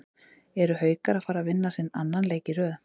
ERU HAUKAR AÐ FARA AÐ VINNA SINN ANNAN LEIK Í RÖÐ???